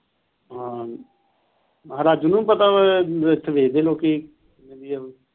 ਹਾਂ ਰਾਜੂ ਨੂੰ ਵੀ ਪਤਾ ਵਾ ਇਥੇ ਬੇਚਦੇ ਲੋਕੀ ਵਧੀਆ,